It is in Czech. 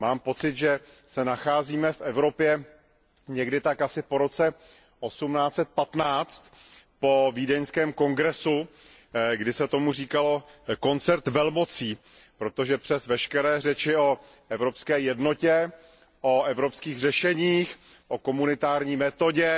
Mám pocit, že se nacházíme v Evropě někdy tak asi po roce 1815, po Vídeňském kongresu, kdy se tomu říkalo koncert velmocí, protože přes veškeré řeči o evropské jednotě, o evropských řešeních, o komunitární metodě,